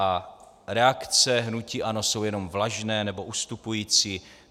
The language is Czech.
A reakce hnutí ANO jsou jenom vlažné, nebo ustupující.